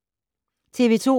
TV 2